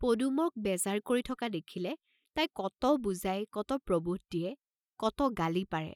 পদুমক বেজাৰ কৰি থকা দেখিলে তাই কত বুজাই কত প্ৰবোধ দিয়ে, কত গালি পাৰে।